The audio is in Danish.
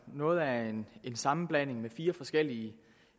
noget af en sammenblanding af fire forskellige